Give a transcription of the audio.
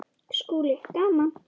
SKÚLI: Gaman!